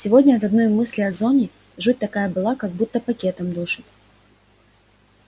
сегодня от одной мысли о зоне жуть такая была как будто пакетом душат